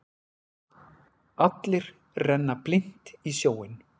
Allir renna blint í sjóinn.